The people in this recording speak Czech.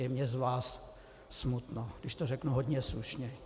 Je mně z vás smutno, když to řeknu hodně slušně.